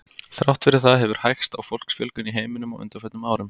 Þrátt fyrir það hefur hægst á fólksfjölgun í heiminum á undanförnum árum.